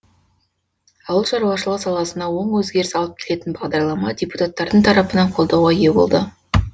ауыл шаруашылығы саласына оң өзгеріс алып келетін бағдарлама депутаттардың тарапынан қолдауға ие болды